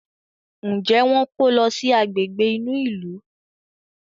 Njé wón kò ló sì Àgbègbè inú ilu?